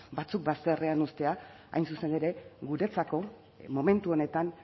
batzuk bazterrean uztean hain zuzen ere guretzako momentu honetan